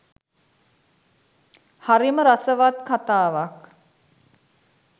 හරිම රසවත් කතාවක්